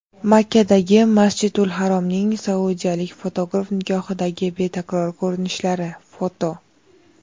Makkadagi "Masjidul harom"ning saudiyalik fotograf nigohidagi betakror ko‘rinishlari (foto) .